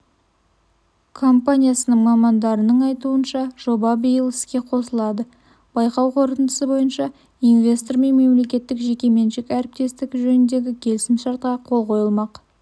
компаниясының мамандарының айтуынша жоба биыл іске қосылады байқау қорытындысы бойынша инвестормен мемлекеттік жеке меншік әріптестік жөніндегі келісім-шартқа қол қойылмақ